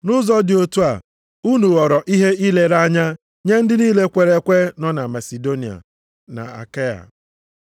Nʼụzọ dị otu a, unu ghọrọ ihe ilere anya nye ndị niile kwere ekwe nọ na Masidonia na Akaịa. + 1:7 Akaịa bụkwa Griis.